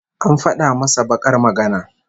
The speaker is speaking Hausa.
An fada masa bakar magana